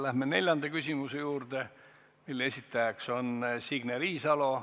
Läheme neljanda küsimuse juurde, mille esitajaks on Signe Riisalo.